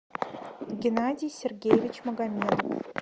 геннадий сергеевич магомедов